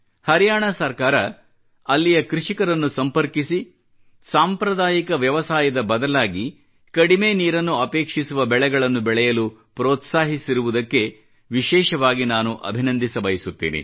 ಹರಿಯಾಣ ಸರ್ಕಾರ ಅಲ್ಲಿಯ ಕೃಷಿಕರನ್ನು ಸಂಪರ್ಕಿಸಿ ಸಾಂಪ್ರದಾಯಿಕ ವ್ಯವಸಾಯದ ಬದಲಾಗಿ ಕಡಿಮೆ ನೀರನ್ನು ಅಪೇಕ್ಷಿಸುವ ಬೆಳೆಗಳನ್ನು ಬೆಳೆಯಲು ಪ್ರೋತ್ಸಾಹಿಸಿರುವುದಕ್ಕೆ ವಿಶೇಷವಾಗಿ ನಾನು ಅಭಿನಂದಿಸಬಯಸುತ್ತೇನೆ